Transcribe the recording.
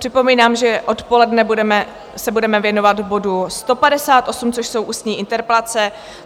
Připomínám, že odpoledne se budeme věnovat bodu 158, což jsou ústní interpelace.